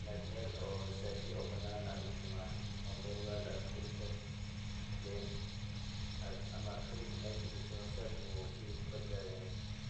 inaad meel oo saafi oo banaan aad dhigto ma ahan inaad meel weel aad ku rido ,[then aad ama fridge aad galiso amuu sheyga ku badbadayaa.